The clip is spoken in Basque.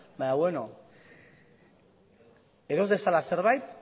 baina beno eros dezala zerbait